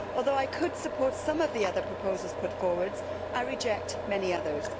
Although I could support some of the other proposals put forward, I reject many others.